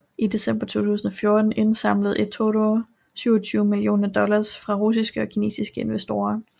I december 2014 indsamlede eToro 27 millioner dollars fra russiske og kinesiske investorer